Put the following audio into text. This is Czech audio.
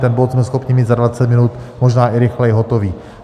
Ten bod jsme schopni mít za 20 minut, možná i rychleji, hotový.